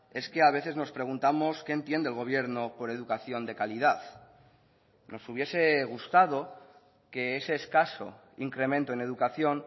es que a veces nos preguntamos qué entiende el gobierno por educación de calidad nos hubiese gustado que ese escaso incremento en educación